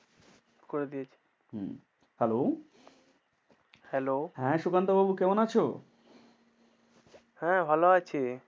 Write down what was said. করে দিয়েছি হম Hello Hello হ্যাঁ সুকান্ত বাবু কেমন আছো? হ্যাঁ ভালো আছি।